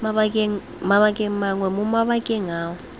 mabakeng mangwe mo mabakeng ao